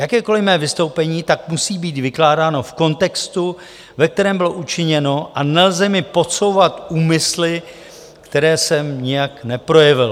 Jakékoliv mé vystoupení tak musí být vykládáno v kontextu, ve kterém bylo učiněno, a nelze mi podsouvat úmysly, které jsem nijak neprojevil."